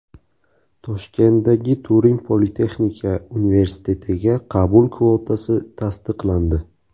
Toshkentdagi Turin politexnika universitetiga qabul kvotasi tasdiqlandi.